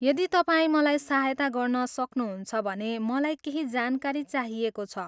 यदि तपाईँ मलाई सहायता गर्न सक्नुहुन्छ भने मलाई केही जानकारी चाहिएको छ।